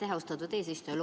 Aitäh, austatud eesistuja!